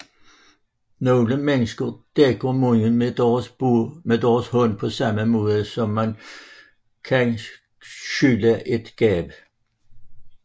Nogle mennesker dækker munden med deres hånd på samme måde som man kan skjule et gab